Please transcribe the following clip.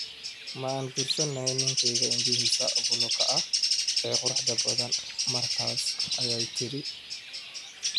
Ma aan guursan lahayn ninkeyga indhihiisa buluuga ah ee quruxda badan, markaas, ayay tiri.